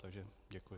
Takže děkuji.